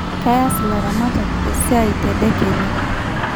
Keyas ilaramatak esiai tedekenya